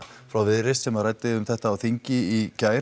frá Viðreisn sem ræddi um þetta á þingi í gær